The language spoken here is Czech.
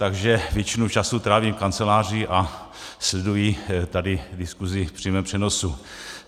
Takže většinu času trávím v kanceláři a sleduji tady diskusi v přímém přenosu.